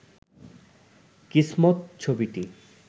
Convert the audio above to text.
কিসমত ছবিটি